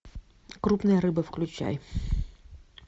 крупная рыба включай